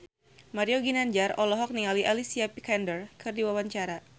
Mario Ginanjar olohok ningali Alicia Vikander keur diwawancara